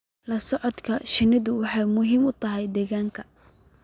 La socodka shinnidu waxay muhiim u tahay daryeelka.